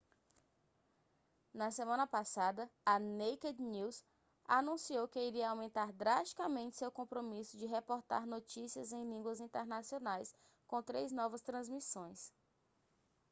na semana passada a naked news anunciou que iria aumentar drasticamente seu compromisso de reportar notícias em línguas internacionais com três novas transmissões